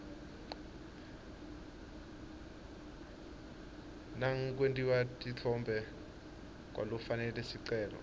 nangekwemtimba kwalofake sicelo